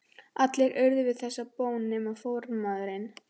Allir urðu við þessari bón nema formaðurinn.